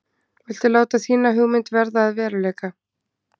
Viltu láta þína hugmynd verða að veruleika?